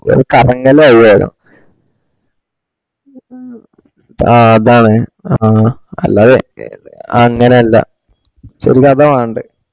കറങ്ങലാവ് വേഗം ആ അതാണ് അ ആ അല്ലാതെ എത് അ അങ്ങനല്ല ശെരിക് അതാ വാണ്ടേ